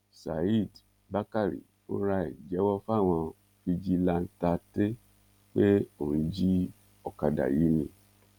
saheed bákàrè fúnra ẹ̀ jẹ́wọ́ fáwọn fijilantànte pé òun jí ọ̀kadà yìí ni